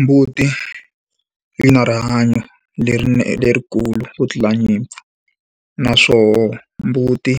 Mbuti yi na rihanyo lerikulu ku tlula nyimpfu, naswoho mbuti